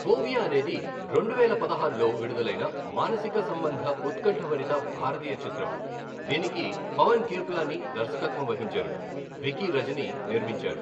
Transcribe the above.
Phobia అనేది రెండువేల పదహారులో విడుదలైన మానసిక సంబంధ ఉత్కంఠభరిత భారతీయ చిత్రం, దీనికి పవన్ కిర్పలానీ దర్శకత్వం వహించారు, వికీ రజని నిర్మించారు.